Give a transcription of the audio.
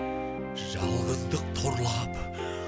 жалғыздық торлап